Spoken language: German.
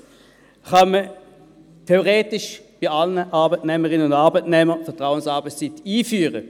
Zweitens kann man theoretisch bei allen Arbeitnehmerinnen und Arbeitnehmern Vertrauensarbeitszeit einführen.